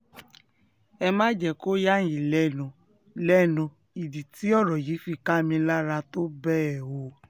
ẹ má jẹ́ kó yà yín lẹ́nu lẹ́nu ìdí tí ọ̀rọ̀ yìí fi ká mi lára tó bẹ́ẹ̀ o